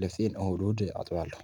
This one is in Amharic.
ልብሴን እሁድ እሁድ አጥባለሁ